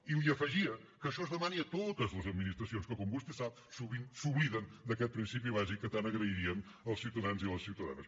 i li afegia que això es demani a totes les administracions que com vostè sap sovint s’obliden d’aquest principi bàsic que tant agrairien els ciutadans i les ciutadanes